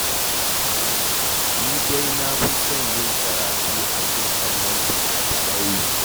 Ni dai na fi son yin karatu a kan kallon fina-finai